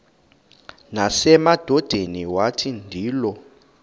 nasemadodeni wathi ndilu